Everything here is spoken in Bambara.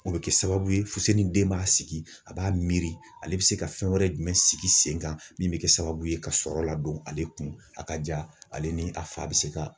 O bɛ kɛ sababu ye fuse ni den b'a sigi a b'a miiri ale bɛ se ka fɛn wɛrɛ jumɛn sigi sen kan min bɛ kɛ sababu ye ka sɔrɔ ladon ale kun a ka diya ale ni a fa bɛ se ka.